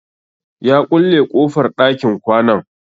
Ya ƙulle kofar ɗakin kwanan.